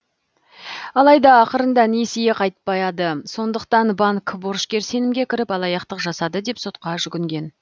алайда ақырында несие қайтпады сондықтан банк борышкер сенімге кіріп алаяқтық жасады деп сотқа жүгінген